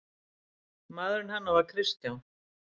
Maður hennar var Kristján